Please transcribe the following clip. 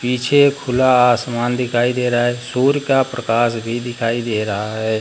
पीछे खुला आसमान दिखाई दे रहा है सूर्य का प्रकाश भी दिखाई दे रहा है।